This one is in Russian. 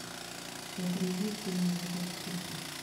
загрузи все ненавидят криса